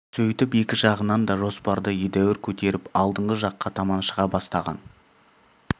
сөйтіп екі жағынан да жоспарды едәуір көтеріп алдыңғы жаққа таман шыға бастаған